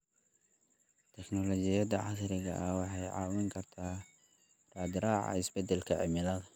Teknoolojiyada casriga ah waxay caawin kartaa raadraaca isbeddelka cimilada.